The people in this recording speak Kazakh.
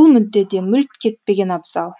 бұл мүддеде мүлт кетпеген абзал